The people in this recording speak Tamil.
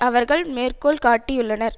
அவர்கள் மேற்கோள் காட்டியுள்ளனர்